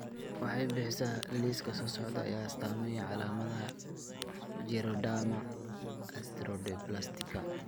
waxay bixisaa liiska soo socda ee astaamaha iyo calaamadaha Geroderma osteodysplastica.